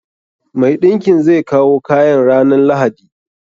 Mai ɗinkin zai kawo kayan ranan lahadi.